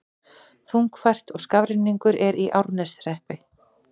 Þungfært og skafrenningur er í Árneshreppi